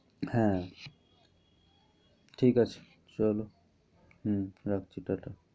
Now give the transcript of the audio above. হ্যাঁ। ঠিক আছে চলো। হম রাখছি। ta ta